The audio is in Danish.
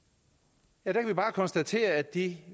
at der kan vi bare konstatere at de